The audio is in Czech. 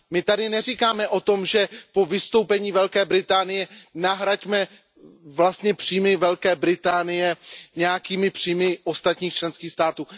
My tady nemluvíme o tom, že po vystoupení Velké Británie nahradíme příjmy Velké Británie nějakými příjmy ostatních členských států.